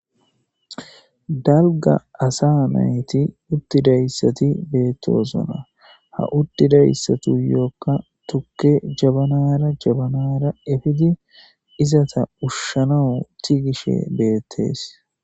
Dalga asa nayti utidaysati beetosona ha utidaysatuyoka tuke jabanara efidi izeta ushanawu tigishe deethes.